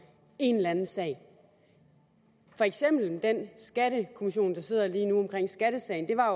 en eller anden sag for eksempel den skattekommission der sidder lige nu i med skattesagen det var jo